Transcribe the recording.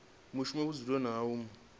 mushumi vhudzuloni ha u mu